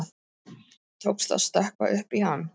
Tókst að stökkva upp í hann.